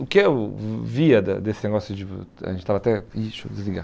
O que eu vi via da desse negócio de... a gente estava até, ih, deixa eu desligar.